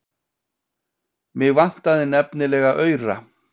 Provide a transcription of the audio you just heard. Mig vantaði nefnilega aura.